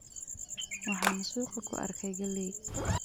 Waxaan suuqa ku arkay galley.